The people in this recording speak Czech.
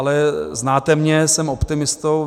Ale znáte mě, jsem optimistou.